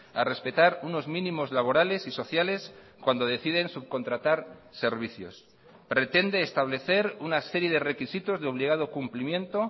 a respetar unos mínimos laborales y sociales cuando deciden subcontratar servicios pretende establecer una serie de requisitos de obligado cumplimiento